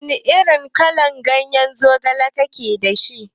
Wana irin kalan ganye zogale yake dashi?